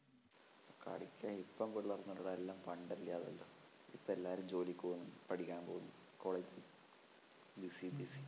കളിയ്ക്കാൻ ഇപ്പം പിള്ളേരൊന്നുമില്ലെടാ എല്ലാം പണ്ടല്ലേ അതെല്ലാം ഇപ്പോ എല്ലാരും ജോലിക്കു പോവുന്നു പഠിക്കാൻ പോവുന്നു college ല്‍ busy busy